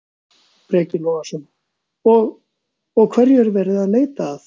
Breki Logason: Og, og hverju er verið að leita að?